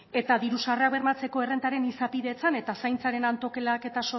eta diru sarrera bermatzeko errentaren izapidetzen eta zaintzaren antolaketak eta